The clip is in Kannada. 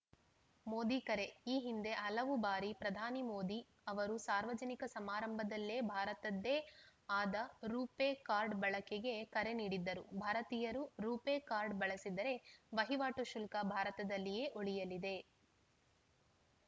ಮೋದಿ ಕರೆ ಈ ಹಿಂದೆ ಹಲವು ಬಾರಿ ಪ್ರಧಾನಿ ಮೋದಿ ಅವರು ಸಾರ್ವಜನಿಕ ಸಮಾರಂಭದಲ್ಲೇ ಭಾರತದ್ದೇ ಆದ ರು ಪೇ ಕಾರ್ಡ್‌ ಬಳಕೆಗೆ ಕರೆ ನೀಡಿದ್ದರು ಭಾರತೀಯರು ರು ಪೇ ಕಾರ್ಡ್‌ ಬಳಸಿದರೆ ವಹಿವಾಟು ಶುಲ್ಕ ಭಾರತದಲ್ಲೇ ಉಳಿಯಲಿದೆ